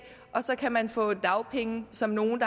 og så kan man få dagpenge som nogle